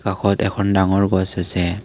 কাষত এখন ডাঙৰ গছ আছে।